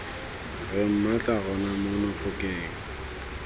re mmatla rona mono phokeng